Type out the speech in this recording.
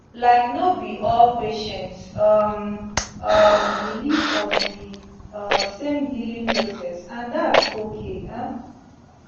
laik no bi all patients um um believe for di um same healing process and thats okay um